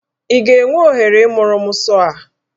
Ị ga-enwe ohere ịmụrụ mụ sọọ a?